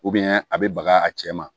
a bɛ baga a cɛ ma